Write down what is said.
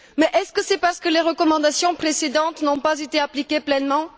Est ce parce que les recommandations précédentes n'ont pas été appliquées pleinement?